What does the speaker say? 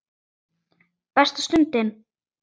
Besta stundin?